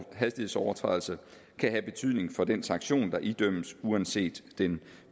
hastighedsovertrædelse kan have betydning for den sanktion der idømmes uanset den